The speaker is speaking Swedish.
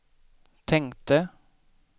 tänkte